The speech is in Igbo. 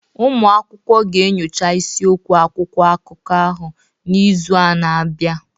Ụmụ akwụkwọ ga-enyocha isiokwu akwụkwọ akụkọ ahụ n'izu na-abịa